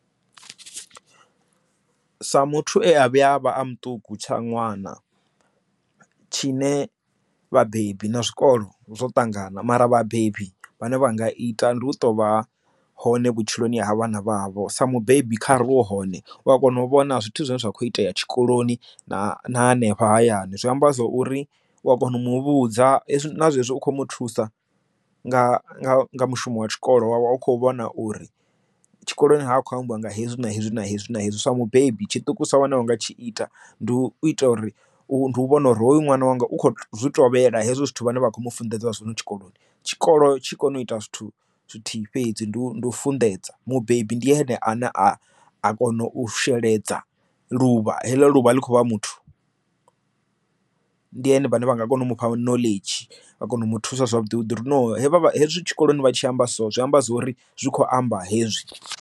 Sa muthu e a vhuya a vha a muṱuku tsha ṅwana tshine vhabebi na zwikolo zwo ṱangana mara vhabebi vhane vha nga ita ndi u to vha hone vhutshiloni ha vha na vhavho sa mubebi kha ri wa hone u a kona u vhona zwithu zwine zwa kho itea tshikoloni na hanefha hayani zwi amba zwa uri u a kona u muvhudza hezwi nazwezwi u kho mu thusa nga mushumo wa tshikolo wavha u kho vhona uri tshikoloni hakho ambiwa nga hezwi na hezwi na hezwi na hezwi sa mubebi tshiṱukusa tshine wana wo nga tshi ita ndi u ita uri u vhona uri hoyu ṅwana wanga u kho zwi tovhela hezwo zwithu vhane vha kho mu funḓedza zwino tshikoloni tshikolo tshi kone u ita zwithu zwithu fhedzi ndi u ndi u funḓedza mubebi ndi ene a ne a kona u sheledza luvha heḽo luvha ḽi kho vha muthu ndi hone vhane vha nga kona u mufha knowledge vha kone u mu thusa zwavhuḓi vhuḓi ro no vha hezwi tshikoloni vha tshi amba so zwi amba zwori zwi kho amba hezwi.